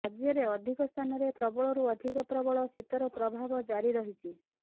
ରାଜ୍ୟରେ ଅଧିକ ସ୍ଥାନରେ ପ୍ରବଳରୁ ଅଧିକ ପ୍ରବଳ ଶୀତର ପ୍ରଭାବ ଜାରି ରହିଛି